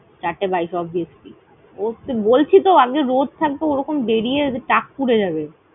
চারটে বাইশে obviously । ওফ, বলছি তো আগে রোদ থাকবে ওরকম বেড়িয়ে টাক পূড়ে যাবে।